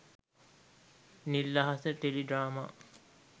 nil ahasa tele drama